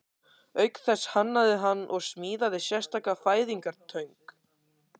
Auk þess hannaði hann og smíðaði sérstaka fæðingartöng.